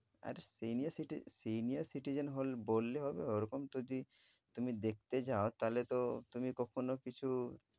আরে senior city~ senior citizen হল~ বললে হবে? ওরকম যদি তুমি দেখতে যাও তাহলে তো তুমি কখনো কিছু